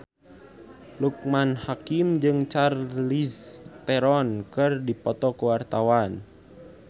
Loekman Hakim jeung Charlize Theron keur dipoto ku wartawan